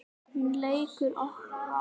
Hún leikur rokk.